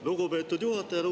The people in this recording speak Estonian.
Lugupeetud juhataja!